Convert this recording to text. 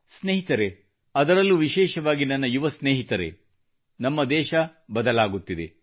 ಸ್ನೇಹಿತರೆ ಅದರಲ್ಲೂ ವಿಶೇಷವಾಗಿ ನನ್ನ ಯುವ ಸ್ನೇಹಿತರೆ ನಮ್ಮ ದೇಶ ಬದಲಾಗುತ್ತಿದೆ